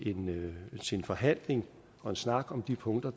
en forhandling og en snak om de punkter